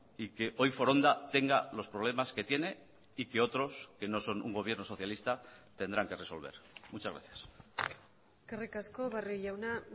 y que hoy foronda tenga los problemas que tiene y que otros que no son un gobierno socialista tendrán que resolver muchas gracias eskerrik asko barrio jauna